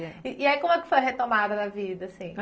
E aí como é que foi a retomada da vida, assim?